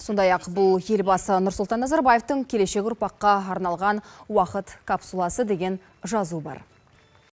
сондай ақ бұл елбасы нұрсұлтан назарбаевтың келешек ұрпаққа арналған уақыт капсуласы деген жазу бар